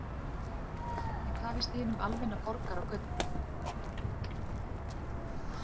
En hvað finnst hinum almenna borgara á götunni?